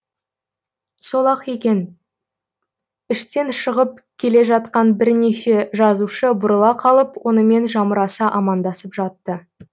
сол ақ екен іштен шығып келе жатқан бірнеше жазушы бұрыла қалып онымен жамыраса амандасып жатты